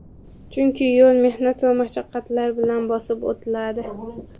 Chunki yo‘l mehnat va mashaqqatlar bilan bosib o‘tiladi.